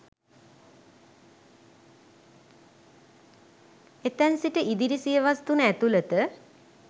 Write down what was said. එතැන් සිට ඉදිරි සියවස් තුන ඇතුළත